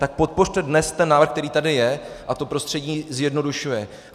Tak podpořte dnes ten návrh, který tady je a to prostředí zjednodušuje.